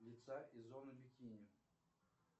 лица и зоны бикини